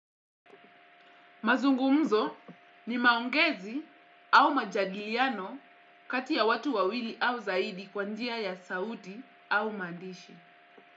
Mazungumzo ni maongezi au majadiliano kati ya watu wawili au zaidi kwa njia ya sauti au maandishi.